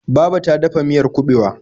Baba ta ta dafa miyar kuɓewa.